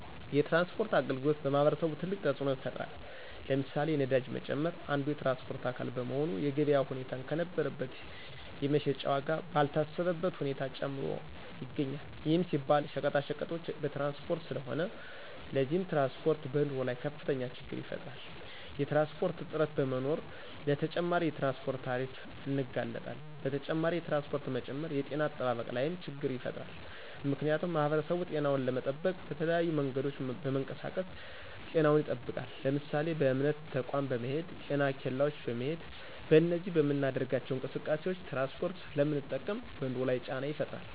የትራንስፖርት አገልግሎት በማህበረሰቡ ትልቅ ተፅኖ ይፍጥራል። ለምሳሌ፦ የነዳጅ መጨመር አንዱ የትራንስፖርት አካል በመሆኑ የገበያ ሁኔታን ከነበረበት የመሸጫ ዎጋ ባልታሰበበት ሁኔታ ጨምሮ ይገኞል ይህም ሲባል ሸቀጣቀጦች በትራንስፖርት ስለሆነ። ለዚህም ትራንስፖርት በኑሮ ላይ ከፍተኞ ችግር ይፈጥራል። የትራንስፖርት እጥረት በመኖሮ ለተጨማሪ የትራንስፖርት ታሪፍ እንጋለጣለን። በተጨማሪ የትራንስፖርት መጨመር የጤነ አጠባበቅ ላይም ችገር ይፈጥራል ምክንያቱሙ ማህበረሰቡ ጤናውን ለመጠበቅ በተለያዩ መንገዶች በመንቀሳቀስ ጤናውን ይጠብቃል ለምሳሌ:- በእምነት ተቆም በመሄድ: ጤና ኬላዎች በመሄድ በእነዚህ በምናደርጋቸው እንቅስቃሴዎች ትራንስፖርት ስለምንጠቀም በኑሮ ላይ ጫና ይፈጥራል